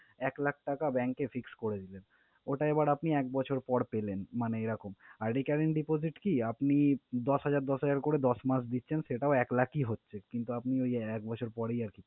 এক লাখ টাকা bank এ fix করে দিবেন। ওটা এবার আপনি এক বছর পর পেলেন মানে এরকম। আর recurring deposit কি? আপনি দশ হাজার, দশ হাজার করে দশ মাস দিচ্ছেন সেটাও এক লাখই হচ্ছে কিন্তু আপনি ঐযে এক বছর পরেই আরকি।